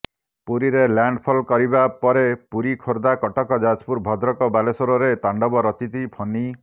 ପୁରୀରେ ଲ୍ୟାଣ୍ଡଫଲ କରିବା ପରେ ପୁରୀ ଖୋର୍ଦ୍ଧା କଟକ ଯାଜପୁର ଭଦ୍ରକ ବାଲେଶ୍ୱରରେ ତାଣ୍ଡବ ରଚିଛି ଫନି